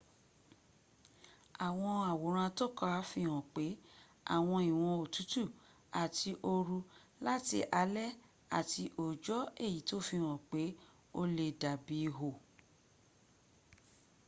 àwọn àwòrán atọ́ka fi hàn pé àwọn ìwọ́n òtútù àti ooru láti alẹ́ àti òòjọ́ èyí tó sàfihàn pé ó le dàbí ihò